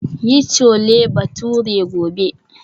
Yi Chole Bhature gobe.